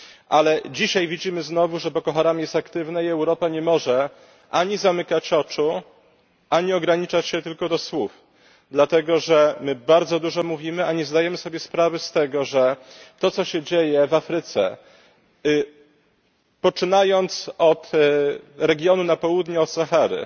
Ale dzisiaj widzimy znowu, że Boko Haram jest aktywne i Europa nie może ani zamykać oczu ani ograniczać się tylko do słów, dlatego że my bardzo dużo mówimy, a nie zdajemy sobie sprawy z tego, że to, co się dzieje w Afryce, poczynając od regionu na południe od Sahary,